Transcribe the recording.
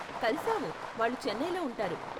కలిశావు, వాళ్ళు చెన్నైలో ఉంటారు.